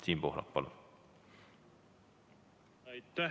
Siim Pohlak, palun!